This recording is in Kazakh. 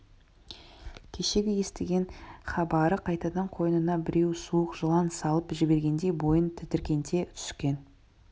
кешегі естіген хабары қайтадан қойнына біреу суық жылан салып жібергендей бойын тітіркенте түскен